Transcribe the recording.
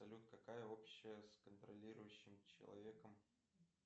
салют какая общая с контролирующим человеком